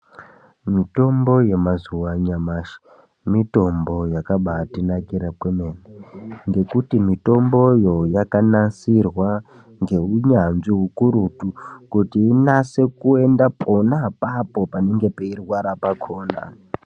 Mitombo yamazuva anyamashi mitombo yakabatinakira kwemene. Ngekuti mitomboyo yakanasirwa ngeunyanzvi hukurutu kuti inase kuenda pona apapo panenge peirwara pakona.